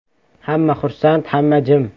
Hamma xursand, hamma jim.